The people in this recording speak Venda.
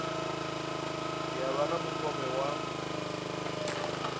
ya vha na mukovhe wa